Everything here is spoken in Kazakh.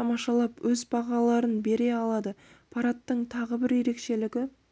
тамашалап өз бағаларын бере алады парадтың тағы бір ерекшелігі